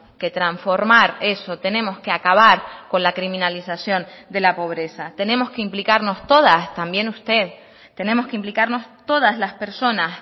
que transformar eso tenemos que acabar con la criminalización de la pobreza tenemos que implicarnos todas también usted tenemos que implicarnos todas las personas